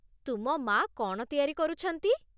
ତୁମ ମା' କ'ଣ ତିଆରି କରୁଛନ୍ତି?